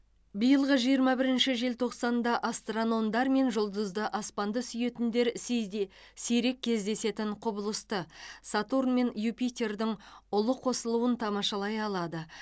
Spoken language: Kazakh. биылғы жиырма бірінші желтоқсанда астрономдар мен жұлдызды аспанды сүйетіндер сиде сирек кездесетін құбылысты сатурн мен юпитердің ұлы қосылуын тамашалай алады